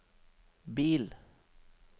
bil